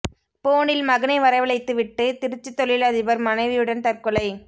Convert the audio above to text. போனில் மகனை வரவழைத்து விட்டு திருச்சி தொழில் அதிபர் மனைவியுடன் தற்கொலை